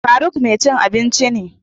Faruk mai cin abinci ne.